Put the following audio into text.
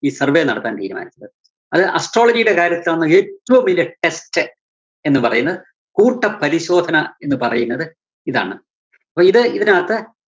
ഈ survey നടത്താന്‍ തീരുമാനിച്ചത്. അത് astrology യുടെ കാര്യത്തിലാണ് ഏറ്റവും വലിയ test എന്നുപറയുന്നത്, കൂട്ട പരിശോധന എന്നുപറയുന്നത് ഇതാണ്. ഒരേ ഇതിനകത്ത്